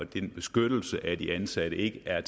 til beskyttelsen af de ansatte ikke er